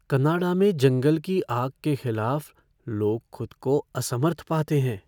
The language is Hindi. कनाडा में जंगल की आग के खिलाफ लोग खुद को असमर्थ पाते हैं।